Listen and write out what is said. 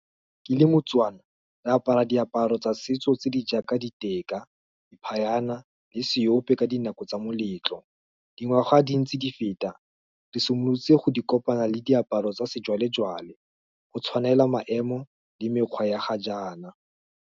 Ke le moTswana, re apara diaparo tsa setso tse di jaaka, diteka, phayana, le seope ka dinako tsa moletlo, dingwaga di ntse di feta, di simolotse go di kopana le diaparo tsa sejwalejwale, go tshwanela maemo, le mekgwa ya ga jaana.